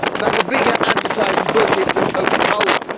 That is a bigger advertising budget than Coca Cola.